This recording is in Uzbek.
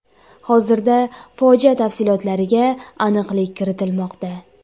Hozirda fojia tafsilotlariga aniqlik kiritilmoqda.